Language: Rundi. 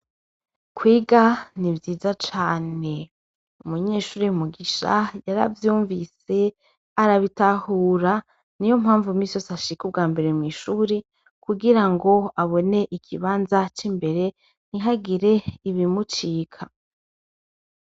Kwiga ni ivyiza cane umunyeshuri mugisha yaravyumvise arabitahura ni yo mpamvu m'isose ashike ubwa mbere mw'ishuri kugira ngo abone igibanza c'imbere ni hagire ibimucika.